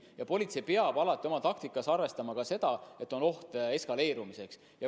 Ja politsei peab alati oma taktikas arvestama ka seda, et on oht eskaleerumiseks.